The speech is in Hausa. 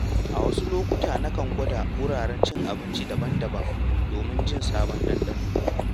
A wasu lokuta, nakan gwada wuraren cin abinci daban-daban domin jin sabon ɗanɗano.